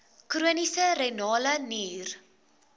chroniese renale nier